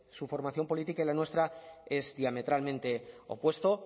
su formación política y la nuestra es diametralmente opuesto